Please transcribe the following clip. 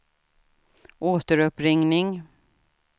återuppringning